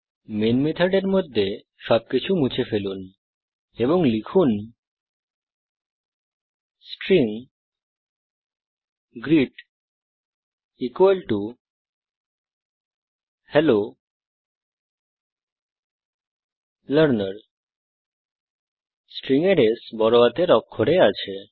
main মেথডের মধ্যে সবকিছু মুছে ফেলুন এবং লিখুন string greet hello learner string এর S বড়হাতের অক্ষরে আছে